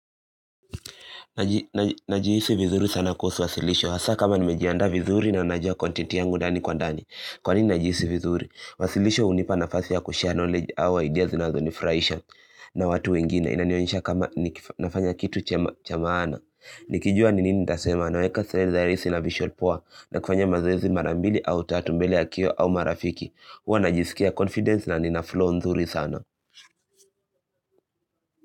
Najihisi vizuri sana kuhusu wasilisho. Hasa kama nimejianda vizuri na najua kontenti yangu ndani kwa ndani. Kwa nini najihisi vizuri? Wasilisho hunipa nafasi ya kushea knowledge au idea zinazonifurahisha na watu wengine. Inanionesha kama nafanya kitu chamaana. Nikijua ni nini nitasema naweka seleri zaerisi na visual power na kufanya mazoezi marambili au tatumbele ya kio au marafiki. Huwa najisikia confidence na ninaflow nzuri sana.